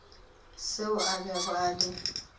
seo a bego a le